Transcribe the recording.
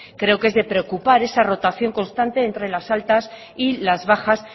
creo que es de preocupar esa rotación constante entre las altas y las bajas